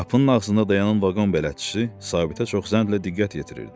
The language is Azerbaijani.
Qapının ağzında dayanan vaqon bələdçisi Sabitə çox zəhlə diqqət yetirirdi.